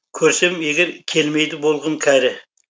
көрсем егер келмейді болғым кәрі